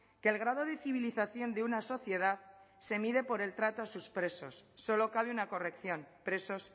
que el grado de civilización de una sociedad se mide por el trato a sus presos solo cabe una corrección presos